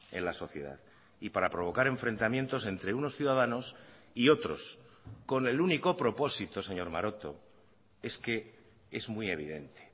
en la sociedad y para provocar enfrentamientos entre unos ciudadanos y otros con el único propósito señor maroto es que es muy evidente